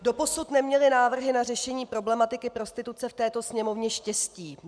Doposud neměly návrhy na řešení problematiky prostituce v této Sněmovně štěstí.